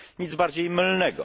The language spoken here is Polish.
Nic bardziej mylnego.